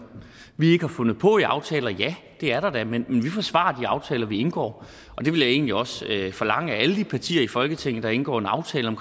vi ikke har fundet på i aftaler ja det er der da men vi forsvarer de aftaler vi indgår det vil jeg egentlig også forlange af alle de partier i folketinget der indgår en aftale om